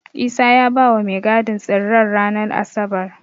Isa ya bawa mai gadin tsirren ranar Asabar.